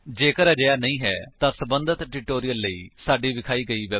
ਜੇਕਰ ਨਹੀਂ ਤਾਂ ਸਬੰਧਤ ਟਿਊਟੋਰਿਅਲ ਲਈ ਸਾਡੀ ਵੇਬਸਾਈਟ ਉੱਤੇ ਜਾਓ